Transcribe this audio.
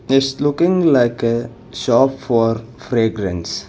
this looking like a shop for fragrance.